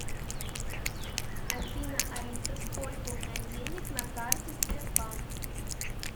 афина алиса сколько у меня денег на карте сбербанк